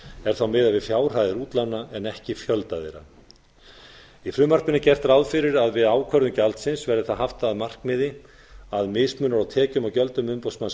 er þá miðað við fjárhæðir útlána en ekki fjölda þeirra í frumvarpinu er gert ráð fyrir að við ákvörðun gjaldsins sé það haft að markmiði að mismunur á tekjum og gjöldum umboðsmanns